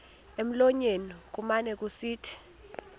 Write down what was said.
emlonyeni kumane kusithi